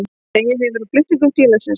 Dregið hefur úr flutningum félagsins